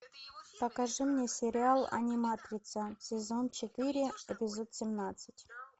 покажи мне сериал аниматрица сезон четыре эпизод семнадцать